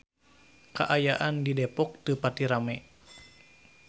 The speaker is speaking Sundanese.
Kaayaan di Depok teu pati rame